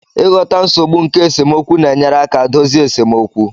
Ịghọta nsogbu nke esemokwu na-enyere aka dozie esemokwu